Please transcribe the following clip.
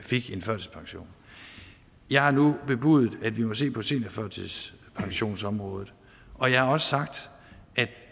fik en førtidspension jeg har nu bebudet at vi må se på seniorførtidspensionsområdet og jeg har også sagt at